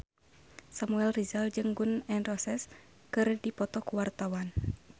Samuel Rizal jeung Gun N Roses keur dipoto ku wartawan